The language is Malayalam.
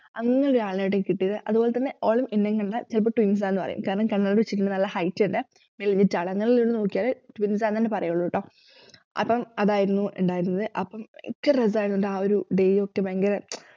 അങ്ങനെയൊരു ആളിനെയാട്ടോ എനിക്ക് കിട്ടിയത് അതുപോലെതന്നെ ഓള് എന്നേം കണ്ടാൽ ചിലപ്പോ twins ആണ്ന്നു പറയും കാരണം കണ്ണട വെച്ചിട്ടുള്ള നല്ല height ഉണ്ടേ മെലിഞ്ഞിട്ടാണ് നോക്കിയാല് twins ആന്നെന്നെ പറയുള്ളൂട്ടോ അപ്പം അതായിരുന്നു ഇണ്ടായിരുന്നത് അപ്പം ഭയങ്കര രസായിരുന്നൂട്ട ആ ഒരു days യൊക്കെ ഭയങ്കര മ്‌ചം